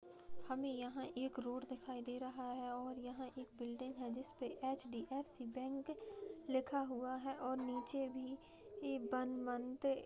हमें यहाँ एक रोड दिखाई दे रहा है और यहाँ एक बिल्डिंग है जिसपे एच.डी.एफ.सी. बैंक लिखा हुआ है और निचे भी वन मंथ --